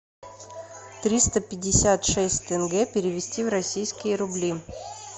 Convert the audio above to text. триста пятьдесят шесть тенге перевести в российские рубли